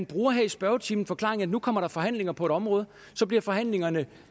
bruger her i spørgetimen forklaringen at der nu kommer forhandlinger på et område og så bliver forhandlingerne